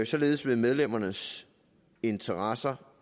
således vil medlemmernes interesser